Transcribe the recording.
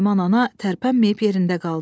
Naiman ana tərpənməyib yerində qaldı.